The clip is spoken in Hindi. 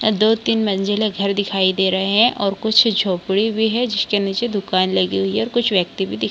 दो तीन मंजिला घर दिखाई दे रहे हैं और कुछ झोपड़ी भी हैं जिसके नीचे दुकान लगी हुई हैं और कुछ व्यक्ति भी दिख --